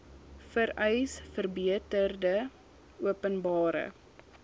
vereis verbeterde openbare